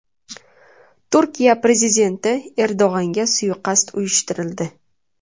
Turkiya prezidenti Erdo‘g‘anga suiqasd uyushtirildi .